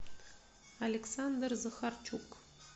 александр захарчук